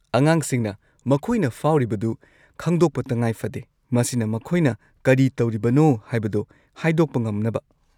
ꯑꯉꯥꯡꯁꯤꯡꯅ ꯃꯈꯣꯏꯅ ꯐꯥꯎꯔꯤꯕꯗꯨ ꯈꯪꯗꯣꯛꯄ ꯇꯈꯥꯏꯐꯗꯦ ꯃꯁꯤꯅ ꯃꯈꯣꯏꯅ ꯀꯔꯤ ꯇꯧꯔꯤꯕꯅꯣ ꯍꯥꯏꯕꯗꯣ ꯍꯥꯏꯗꯣꯛꯄ ꯉꯝꯅꯕ꯫